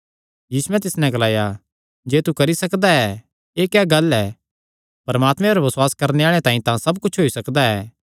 यीशुयैं तिस नैं ग्लाया जे तू करी सकदा ऐ एह़ क्या गल्ल ऐ परमात्मे पर बसुआस करणे आल़ेआं तांई सब कुच्छ होई सकदा ऐ